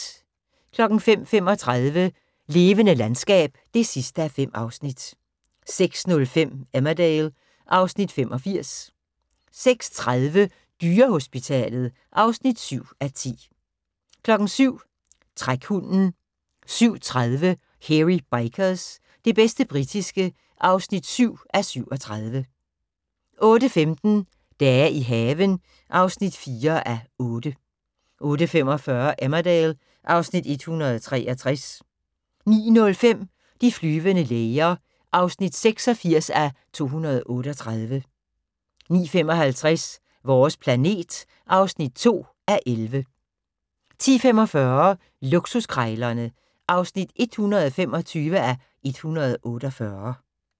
05:35: Levende landskab (5:5) 06:05: Emmerdale (Afs. 85) 06:30: Dyrehospitalet (7:10) 07:00: Trækhunden 07:30: Hairy Bikers – det bedste britiske (7:37) 08:15: Dage i haven (4:8) 08:45: Emmerdale (Afs. 163) 09:05: De flyvende læger (86:238) 09:55: Vores planet (2:11) 10:45: Luksuskrejlerne (125:148)